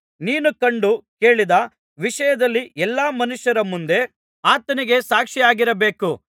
ನೀನು ಕಂಡು ಕೇಳಿದ ವಿಷಯದಲ್ಲಿ ಎಲ್ಲಾ ಮನುಷ್ಯರ ಮುಂದೆ ಆತನಿಗೆ ಸಾಕ್ಷಿಯಾಗಿರಬೇಕು